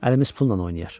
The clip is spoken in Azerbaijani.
Əlimiz pulla oynayar.